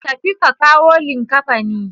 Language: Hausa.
Tafi ka kawo likkafanin.